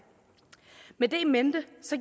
med det in mente